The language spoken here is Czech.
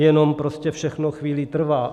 Jenom prostě všechno chvíli trvá.